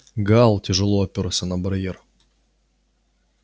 гаал тяжело опёрся на барьер